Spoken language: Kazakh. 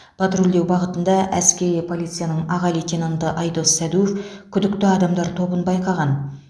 патрульдеу бағытында әскери полицияның аға лейтенанты айдос сәдуов күдікті адамдар тобын байқаған